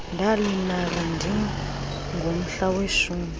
ndalibala singomhla weshumi